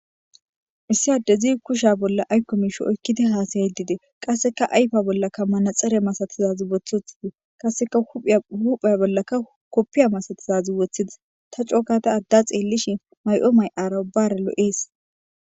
Issi addezi kusha bolla aykko miishi oykkidi haasayidi de7ees. qasseka ayfa bollaka manaxxare masatizazi wothotidi qasseka hupheya bollaka koppiya masatizazi woththidis ta cooka ta adda xeellishin may7o may7ara ubbara loo7ees.